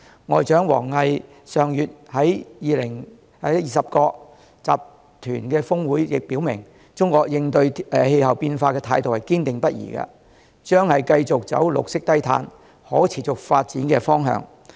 外長王毅上月在二十國集團高峰會亦表明，中國應對氣候變化的態度堅定不移，將繼續走綠色低碳、可持續發展的方向。